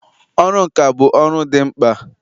ọrụ nka bụ ọrụ dị mkpa